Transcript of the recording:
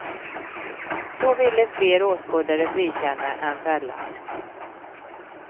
Då ville fler åskådare frikänna än fälla.